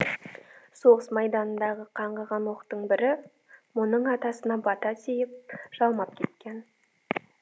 соғыс майданындағы қаңғыған оқтың бірі мұның атасына бата тиіп жалмап кеткен